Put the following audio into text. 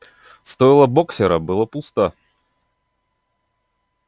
стойло боксёра было пусто